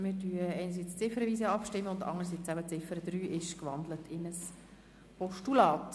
Wir stimmen ziffernweise ab, und der Punkt 3 ist in ein Postulat gewandelt worden.